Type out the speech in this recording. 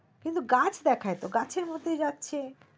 কিন্তু গাছ দেখায় তো গাছের মতোই যাচ্ছে